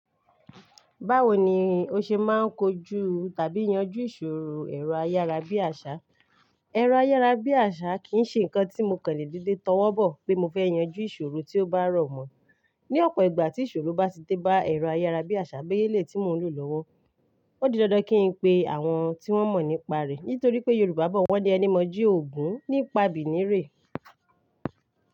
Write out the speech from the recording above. Báwo ni o ṣe máa ń kojú tàbí yanjú ìṣòro ẹ̀rọ ayára bí àṣá? Ẹ̀rọ ayára bí àṣá kì í ṣe ǹnkan tí mo kan lè dede tó wọ́ bọ̀ pé mo fẹ́ yanjú ìṣòro tí ó bá rọ̀ mọ́. Ni ọ̀pọ̀ ìgbà tí ìṣòro bá ti dé bá ẹ̀rọ ayára bí àṣá beye eleyii tí mo ń lò lọ́wọ́, ó di dandan kí n pe àwọn tí wọ́n mọ̀ nípa rẹ̀. Nítorí pé Yorùbá bọ̀ wọ́n ní ẹni mọju ògún nípa bìnirè.